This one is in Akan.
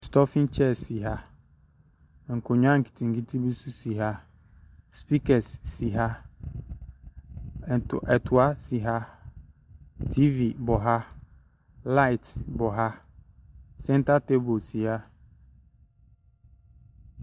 Stɔfen kyɛɛs si ha, nkonwa nketenkete bi so si ha, spikɛs si ha, ɛtoa si ha, tiivi bɔ ha, laet bɔ ha, sɛnta teebol si ha.